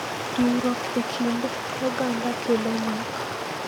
Riwruok e kind oganda kelo nyak.